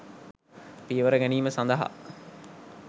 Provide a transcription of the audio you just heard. පියවර ගැනීම සඳහා